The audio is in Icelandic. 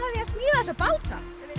smíða þessa báta